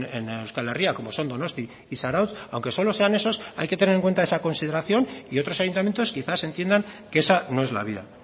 en euskal herria como son donostia y zarautz aunque solo sean esos hay que tener en cuenta esa consideración y otros ayuntamientos quizás entiendan que esa no es la vía